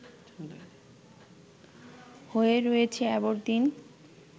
হয়ে রয়েছে অ্যাবরদিন